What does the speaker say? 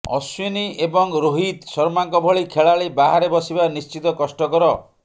ଅଶ୍ବିନ୍ ଏବଂ ରୋହିତ ଶର୍ମାଙ୍କ ଭଳି ଖେଳାଳି ବାହାରେ ବସିବା ନିଶ୍ଚିତ କଷ୍ଟକର